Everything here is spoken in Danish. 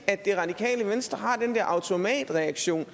at det radikale venstre har den der automatreaktion